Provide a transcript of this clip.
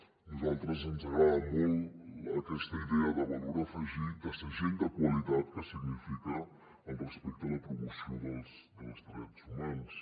a nosaltres ens agrada molt aquesta idea de valor afegit de segell de qualitat que significa el respecte a la promoció dels drets humans